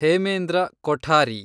Hemendra Kothari